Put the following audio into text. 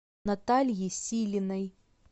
натальи силиной